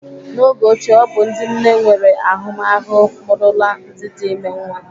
N'oge ochie, ọ bụ ndị nne nwere ahụmahụ mụrụla ndị dị ime nwa.